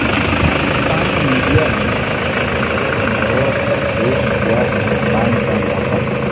Pakistani media نے توڑ مروڑ کرپیش کیا ہندوستان کا موقف